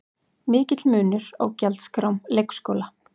Mikill munur á gjaldskrám leikskóla